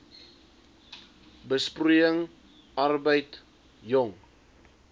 besproeiing arbeid jong